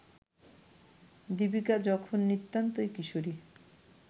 দীপিকা যখন নিতান্তই কিশোরী